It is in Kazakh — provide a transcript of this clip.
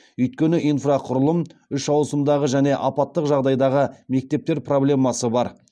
өйткені инфрақұрылым үш ауысымдағы және апаттық жағдайдағы мектептер проблемасы бар